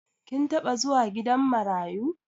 Kin taɓa zuwa gidan marayu?